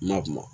Na kuma